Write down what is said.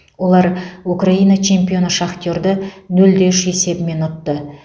олар украина чемпионы шахтерді нөл де үш есебімен ұтты